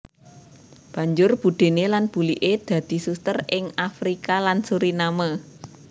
Banjur budéné lan buliké dadi suster ing Afrika lan Suriname